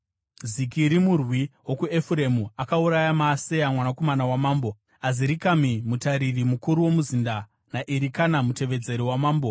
Zikiri murwi wokuEfuremu, akauraya Maaseya mwanakomana wamambo, Azirikami mutariri mukuru womuzinda naErikana, mutevedzeri wamambo.